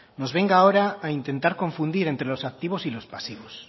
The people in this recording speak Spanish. nos venga ahora a intentar confundir entre los activos y los pasivos